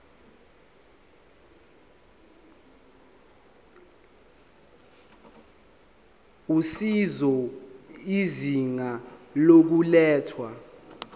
usizo izinga lokulethwa